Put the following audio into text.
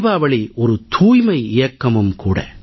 தீபாவளி ஒரு தூய்மை இயக்கமும் கூட